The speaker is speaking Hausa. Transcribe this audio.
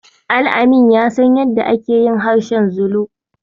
Al-amin ya san yadda ake yin harshen Zulu.